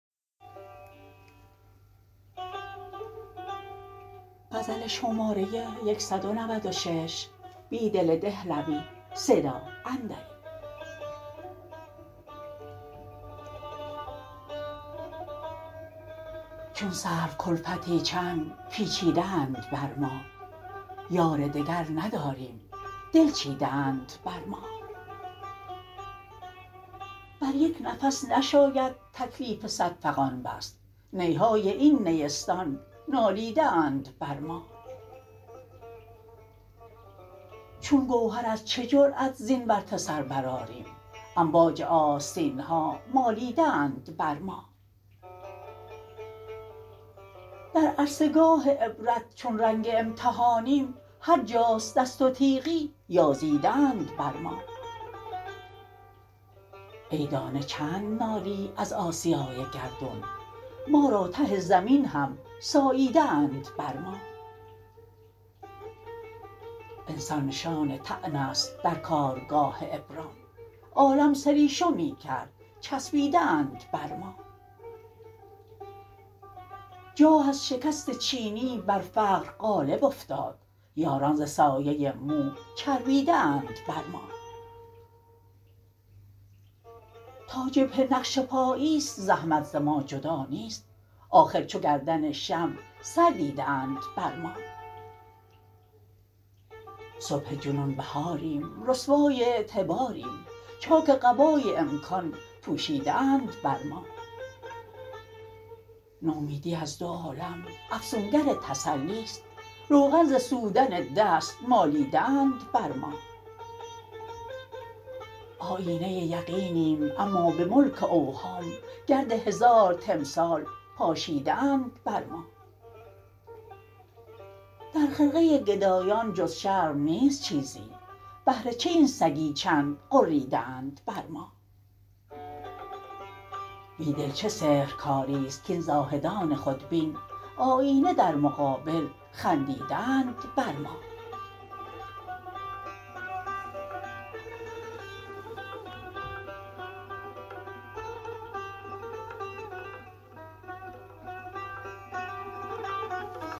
چون سروکلفتی چند پیچیده اند بر ما بار دگر نداریم دل چیده اند بر ما بریک نفس نشاید تکلیف صد فغان بست نی های این نیستان نالیده اند بر ما چون گوهر از چه جرأت زین ورطه سربرآریم امواج آستینها مالیده اند بر ما در عرصه گاه عبرت چون رنگ امتحانیم هرجاست دست و تیغی یازیده اند بر ما ای دانه چند نالی از آسیای گردون ما را ته زمین هم ساییده اند بر ما انسان نشان طعن است درکارگاه ابرام عالم سریشمی کرد چسبیده اند بر ما جاه از شکست چینی بر فقر غالب افتاد یاران ز سایه مو چربیده اند بر ما تاجبهه نقش پانیست زحمت ز ماجدانیست آخر چوگردن شمع سر دیده اند بر ما صبح جنون بهاریم رسوای اعتباریم چاک قبای امکان پوشیده اند بر ما نومیدی از دو عالم افسونگر تسلی ست روغن ز سودن دست مالیده اند بر ما آیینه یقینیم اما به ملک اوهام گرد هزار تمثال پاشیده اند بر ما در خرقه گدایان جز شرم نیست چیزی بهر چه این سگی چند غریده اند بر ما بیدل چه سحرکاری ست کاین زاهدان خودبین آیینه در مقابل خندیده اند بر ما